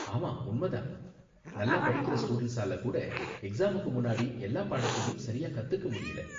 ஆமா, உண்மை தான், நல்லா படிக்கற ஸ்டூடண்ட்ஸால கூட எக்ஸாமுக்கு முன்னாடி எல்லா பாடத்தையும் சரியா கத்துக்க முடியல.